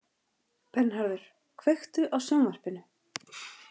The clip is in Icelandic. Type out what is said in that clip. Bernharður, kveiktu á sjónvarpinu.